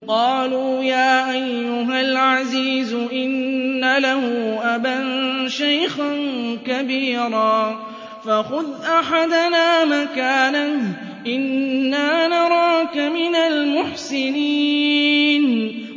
قَالُوا يَا أَيُّهَا الْعَزِيزُ إِنَّ لَهُ أَبًا شَيْخًا كَبِيرًا فَخُذْ أَحَدَنَا مَكَانَهُ ۖ إِنَّا نَرَاكَ مِنَ الْمُحْسِنِينَ